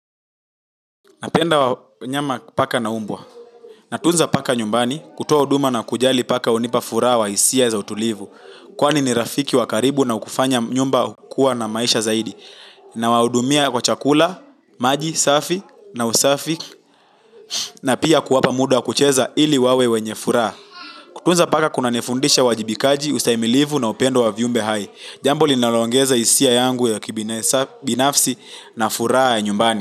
Napenda wanyama paka na mbwa. Natunza paka nyumbani, kutoa huduma na kujali paka hunipa furaha wa hisia za utulivu. Kwani ni rafiki wa karibu na hukufanya nyumba kuwa na maisha zaidi. Nawahudumia kwa chakula, maji, safi, na usafi, na pia kuwapa muda wa kucheza ili wawe wenye furaha. Kutunza paka kunanifundisha uwajibikaji ustahimilivu na upendo wa viumbe hai. Jambo linaloongeza hisia yangu ya kibinafsi na furaha ya nyumbani.